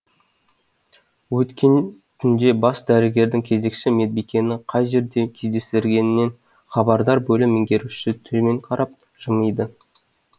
өткен түнде бас дәрігердің кезекші медбикені қай жерде кездестіргенінен хабардар бөлім меңгерушісі төмен қарап жымиды